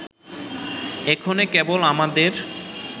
এক্ষণে কেবল আমাদের